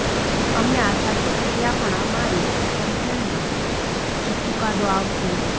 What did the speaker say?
અમને આશા છે કે ત્યાં પણ અમારી તરફેણમાં જ ચુકાદો આવશે